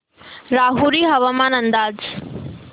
राहुरी हवामान अंदाज